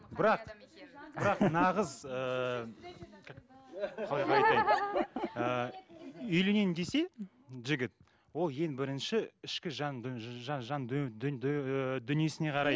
бірақ бірақ нағыз ыыы ыыы үйленейін десе жігіт ол ең бірінші ішкі жан қарайды